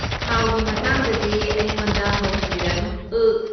ꯊꯥꯎꯒꯤ ꯃꯇꯥꯡꯗꯗꯤ ꯑꯩꯉꯣꯟꯗ ꯍꯧꯍꯟꯕꯤꯔꯅꯨ, ꯑꯔꯒ꯫